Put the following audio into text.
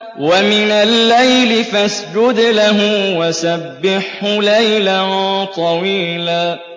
وَمِنَ اللَّيْلِ فَاسْجُدْ لَهُ وَسَبِّحْهُ لَيْلًا طَوِيلًا